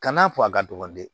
Kan'a fɔ a ka dɔgɔ dɛ